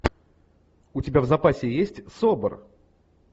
у тебя в запасе есть собр